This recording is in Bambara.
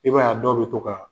I b'a ye a dɔw bɛ to ka